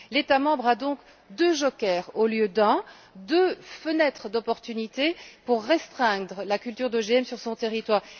2. L'État membre a donc deux jokers au lieu d'un, deux fenêtres d'opportunité pour restreindre la culture d'OGM sur son territoire.